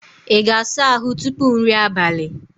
Ị ga-asa ahụ tupu nri abalị?